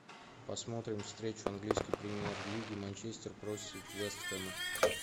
посмотрим встречу английской премьер лиги манчестер против вест хэма